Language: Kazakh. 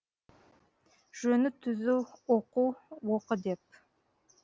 жөні түзу оқу оқы деп